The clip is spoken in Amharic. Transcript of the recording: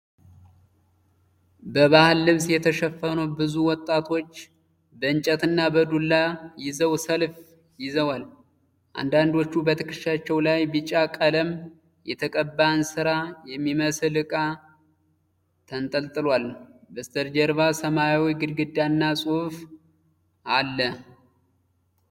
በባህል ልብስ የተሸፈኑ ብዙ ወጣቶች በእንጨትና በዱላ ይዘው ሰልፍ ይዘዋል። አንዳንዶቹ በትከሻቸው ላይ ቢጫ ቀለም የተቀባ እንስራ የሚመስል ዕቃ ተንጠልጥሏል። በስተጀርባ ሰማያዊ ግድግዳና ጽሑፍ አለ።